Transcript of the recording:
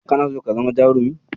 Kana so ka zama jarumi?